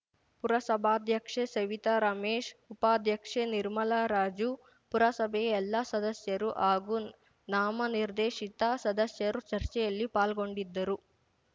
ಪುರಸಭಾದ್ಯಕ್ಷೆ ಸವಿತಾರಮೇಶ್‌ ಉಪಾಧ್ಯಕ್ಷೆ ನಿರ್ಮಲಾರಾಜು ಪುರಸಭೆಯ ಎಲ್ಲಾ ಸದಸ್ಯರು ಹಾಗೂ ನಾಮನಿರ್ದೇಶಿತ ಸದಸ್ಯರು ಚರ್ಚೆಯಲ್ಲಿ ಪಾಲ್ಗೊಂಡಿದ್ದರು